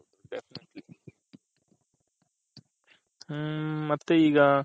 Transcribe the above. ಹ್ಮ್ ಮತ್ತೆ ಈಗ